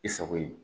I sago ye